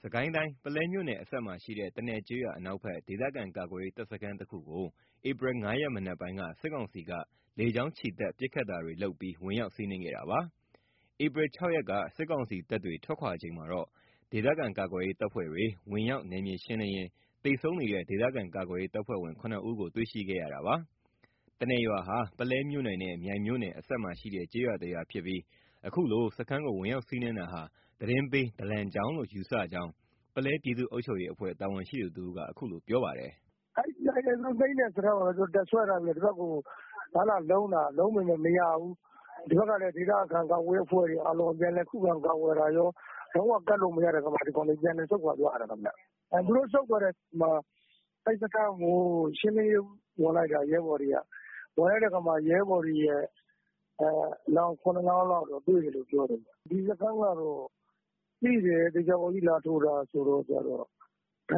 စစ်ကိုင်းတိုင်း၊ ပုလဲမြို့နယ်အစပ်မှာရှိတဲ့ တနယ်ကျေးရွာ အနောက်ဖက် ဒေသခံကာကွယ်ရေး တပ်စခန်းတခုကို ဧပြီ ၅ ရက် မနက်ပိုင်း စစ်ကောင်စီတပ်က လေကြောင်းချီတက် ပစ်ခတ်တာတွေလုပ်ပြီး ဝင်ရောက်စီးနင်း ခဲ့တာပါ။ ဧပြီ ၆ ရက်နေ့က စစ်ကောင်စီတပ်တွေ ထွက်ခွာချိန်မှာတော့ ဒေသခံကာကွယ်ရေး တပ်ဖွဲ့ဝင်တွေ ဝင်ရောက် နယ်မြေရှင်းလင်းရင်း သေဆုံးနေတဲ့ ဒေသခံကာကွယ်ရေးတပ်ဖွဲ့ဝင် ၇ ဦးကို တွေ့ရှိခဲ့ရပါတယ်။ တနယ်ရွာဟာ ပုလဲမြို့နယ်နဲ့ မြိုင်မြို့နယ် အစပ်မှာရှိတဲ့ ကျေးရွာတရွာဖြစ်ပြီး အခုလို စခန်းကို ဝင်ရောက်စီးနင်းတာဟာ သတင်းပေး ဒလံကြောင့်လို့ ယူဆမိကြောင်း ပုလဲပြည်သူ့အုပ်ချုပ်ရေးအဖွဲ့ တာဝန်ရှိသူတဦးက အခုလို ပြောပါတယ်။ “ အဲ့ဒီ သိမ်းတဲ့စခန်းကို တပ်စွဲထားပြီးတော့ ဒီဘက်ကို လာလာလုံးတာ၊ လာလာလုံးပေမယ့် မရဘူး။ ဒီဘက်ကလည်း ဒေသခံကာကွယ်ရေးအဖွဲ့တွေက ပြန်လည် ခုခံကာကွယ်တာရော လုံးဝကပ်လို့ မရတဲ့အခါမှာ ဒီကောင်တွေ ပြန်လည် ဆုတ်ခွါသွားရတယ်ခင်ဗျ။ သူတို့ဆုတ်သွားတဲ့အချိန်မှာ အဲ့စခန်းကို ရှင်းလင်းရေး ဝင်လိုက်တာ ရဲဘော်တွေက၊ ဝင်လိုက်တဲ့အခါမှာ ရဲဘော်တွေရဲ့ အလောင်း ၇ လောင်းလောက် တွေ့တယ်လို့ ပြောတယ်ခင်ဗျ။ ဒီစခန်းက သိတယ်၊ သေချာပေါက်ကြီး လာထိုးတာဆိုတော့ ဒ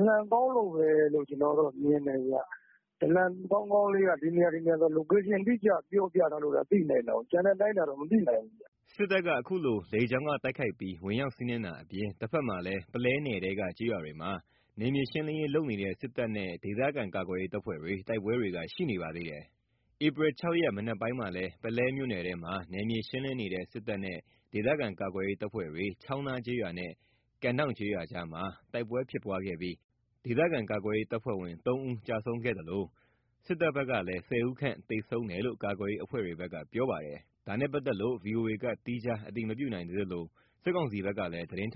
လံကောင်းလို့ပဲလို့ ကျွန်တော်ကတော့ မြင်တယ်။ ဒလံကောင်းကောင်းလေးက ဒီနေရာ၊ ဒီနေရာဆိုပြီး Location အတိအကျ ပြောပြထားလို့သာ သိနိုင်တာကိုး။ ကျန်တဲ့အတိုင်းအတာတော့ မသိနိုင်ဘူးခင်ဗျ။ ” စစ်တပ်က အခုလို လေကြောင်းက တိုက်ခိုက်ပြီး ဝင်ရောက်စီးနင်းတာအပြင် တဖက်မှာလည်း ပုလဲနယ်ထဲက ကျေးရွာတွေမှာ နယ်မြေရှင်းလင်းရေး လုပ်နေတဲ့ စစ်တပ်နဲ့ ဒေသခံကာကွယ်ရေး တပ်ဖွဲ့တွေ တိုက်ပွဲတွေက ရှိနေပါသေးတယ်။ ဧပြီ ၆ ရက် မနက်ပိုင်းမှာလည်း ပုလဲမြို့နယ်ထဲမှာ နယ်မြေရှင်းလင်းနေတဲ့ စစ်တပ်နဲ့ ဒေသခံကာကွယ်ရေး တပ်ဖွဲ့တွေ ချောင်းနားကျေးရွာနဲ့ ကန့်ဒေါင့်ကျေးရွာကြားမှာ တိုက်ပွဲဖြစ်ပွားခဲ့ပြီး ဒေသခံကာကွယ်ရေး တပ်ဖွဲ့ဝင် ၃ ဦးကျဆုံးခဲ့သလို စစ်တပ်ဖက်ကလည်း ၁၀ ဦးသန့် သေဆုံးတယ်လို့ ကာကွယ်ရေးအဖွဲ့တွေဘက်က ပြောပါတယ်။ ဒါနဲ့ပတ်သက်လို့ ဗွီအိုအေက သီးခြား အတည်မပြုနိုင်သေးသလို စစ်ကောင်စီဘက်ကလည်း သတင်းထုတ်